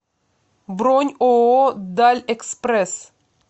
бронь ооо дальэкспресс